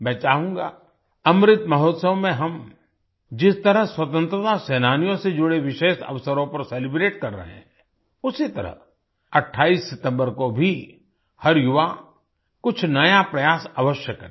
मैं चाहूँगा अमृत महोत्सव में हम जिस तरह स्वतंत्रता सेनानियों से जुड़े विशेष अवसरों परcelebrate कर रहे हैं उसी तरह 28 सितम्बर को भी हर युवा कुछ नया प्रयास अवश्य करे